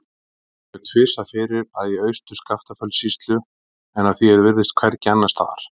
Það kemur tvisvar fyrir í Austur-Skaftafellssýslu en að því er virðist hvergi annars staðar.